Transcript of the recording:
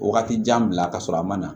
Wagati jan bila ka sɔrɔ a ma na